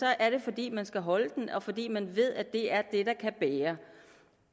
er det fordi man skal holde den og fordi man ved at det er det der kan bære